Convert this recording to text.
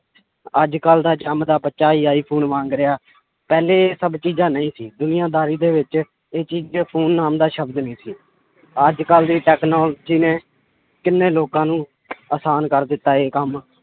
ਅੱਜ ਕੱਲ੍ਹ ਦਾ ਜੰਮਦਾ ਬੱਚਾ ਹੀ ਆਈਫ਼ੋਨ ਮੰਗ ਰਿਹਾ, ਪਹਿਲੇ ਇਹ ਸਭ ਚੀਜ਼ਾਂ ਨਹੀਂ ਸੀ ਦੁਨੀਆਂ ਦਾਰੀ ਦੇ ਵਿੱਚ ਇਹ ਚੀਜ਼ ਕਿ phone ਨਾਮ ਦਾ ਸ਼ਬਦ ਨੀ ਸੀ, ਅੱਜ ਕੱਲ੍ਹ ਦੀ technology ਨੇ ਕਿੰਨੇ ਲੋਕਾਂ ਨੂੰ ਆਸਾਨ ਕਰ ਦਿੱਤਾ ਹੈ ਕੰਮ